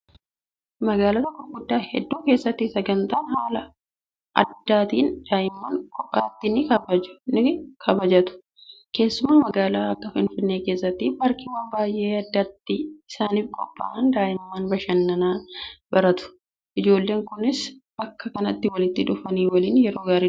Magaalota gurguddaa hedduu keessatti sagantaan haala addaatiin daa'imman kophaatti ni kabajatu. Keessumaa magaalaa akka Finfinnee keessatti paarkiiwwan baay'een addatti isaaniif qophaa'anii daa'imman bashannanaa baratu. Ijoolleen kunis bakka kanatti walitti dhufuun waliin yeroo gaarii dabarsu.